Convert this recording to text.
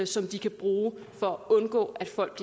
som de kan bruge for at undgå at folk